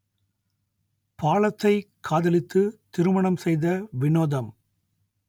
பாலத்தைக் காதலித்து திருமணம் செய்த வினோதம்